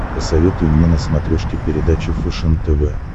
посоветуй мне на смотрешке передачу фэшен тв